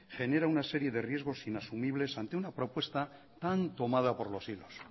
genera una serie de riesgos inasumibles ante una propuesta tan tomada por los hilos